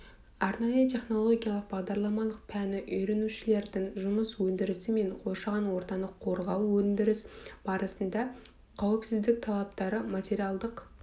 арнайы технология бағдарламалық пәні үйренушілердің жұмыс өндірісі және қоршаған ортаны қорғау өндіріс барысында қауіпсіздік талаптары материалдық